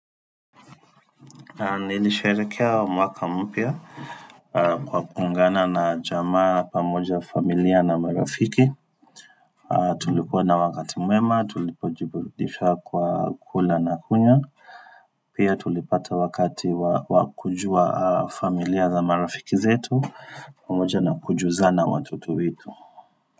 Nilisherekehekea mwaka mpya kwa kuungana na jamaa pamoja familia na marafiki. Tulikuwa na wakati mwema, tulipojibudisha kwa kula na kunywa. Pia tulipata wakati wa kujua familia za marafiki zetu pamoja na kujuzana watoto wetu.